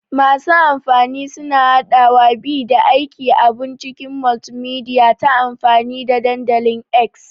Masu amfani suna haɗawa, bi, da aika abun cikin multimedia ta amfani da dandalin X.